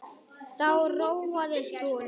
Þá róaðist hún.